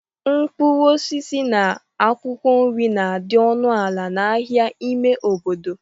Mkpụrụ osisi na akwụkwọ nri na-adị ọnụ ala n'ahịa ime obodo.